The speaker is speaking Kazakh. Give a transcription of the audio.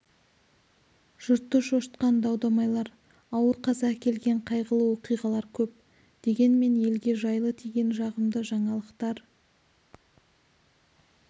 жұртты шошытқан дау-дамайлар ауыр қаза әкелген қайғылы оқиғалар көп дегенмен елге жайлы тиген жағымды жаңалықтар